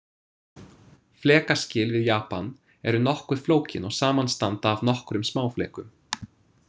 Flekaskil við Japan eru nokkuð flókin og samanstanda af nokkrum smáflekum.